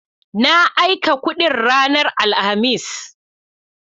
Na aika kudin ranar Alhamis.